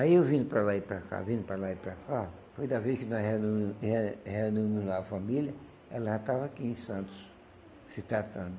Aí eu vindo para lá e para cá, vindo para lá e para cá, foi da vez que nós reunimos re reunimos lá a família, ela já estava aqui em Santos, se tratando.